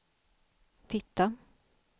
titta